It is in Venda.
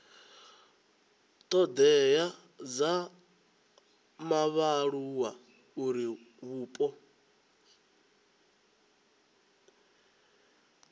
thodea dza vhaaluwa uri vhupo